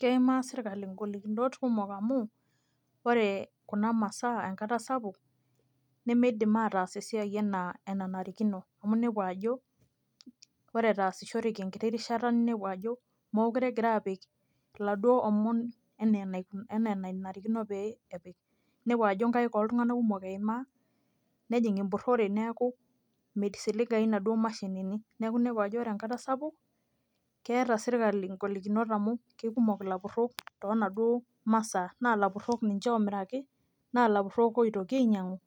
Keimaa sirkali igolikinot kumok amu, ore kuna masaa enkata sapuk, nimidim ataas esiai enaa enanarikino. Amu nepu ajo, ore etaasishoreki enkiti rishata ninepu ajo, mokure egira apik iladuo omon enaa enanarikino pee epik. Nepu ajo nkaik oltung'anak kumok eimaa, nejing' empurrore neeku misiligayu naduo mashinini. Neeku nepu ajo ore enkata sapuk, keeta sirkali golikinot amu kekumok ilapurrok tonaduo masaa, na lapurrok ninche omiraki, na lapurrok oitokinyang'u,